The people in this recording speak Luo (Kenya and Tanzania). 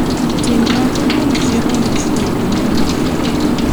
Tim nonro kuom chiemo michiwo kuonde midhiye.